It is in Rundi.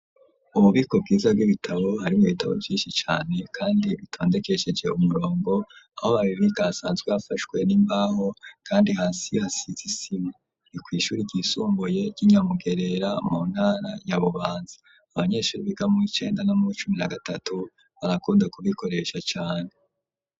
Umubiko bwiza bw'ibitabo harimwo ibitabo vyinshi cane kandi bitondekesheje umurongo aho babibika hasanzwe hafashwe n'imbaho kandi hasi hasize isima ni kw'ishure ryisumbuye ry'inyamugerera mu ntara ya bubanza, abanyeshure biga mu w'icenda no muwicumi na gatatu barakunda kubikoresha cane.